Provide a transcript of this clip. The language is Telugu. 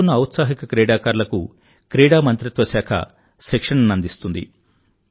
ఎంచుకున్న ఔత్సాహిక క్రీడాకారులకు క్రీడా మంత్రిత్వశాఖ శిక్షణనందిస్తుంది